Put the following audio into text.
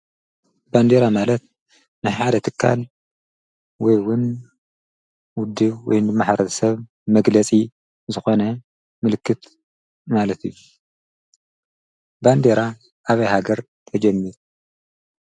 ባንዴራ ማለት ንሕሓደ ትካን ወይውን ውዲ ወይ ንመሕረት ሰብ መግለሲ ዝኾነ ምልክት ማለት ባንዴራ ኣብይሃገር ተጀሚር?